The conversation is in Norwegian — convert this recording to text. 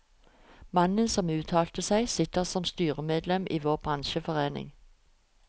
Mannen som uttalte seg, sitter som styremedlem i vår bransjeforening.